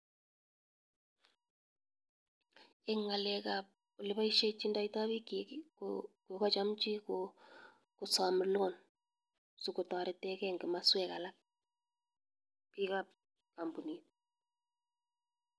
En ngalekab ole boishejidoito bik chik kokochomchi kosom loan sikotoretengee en komoswek alak bikab kompunit.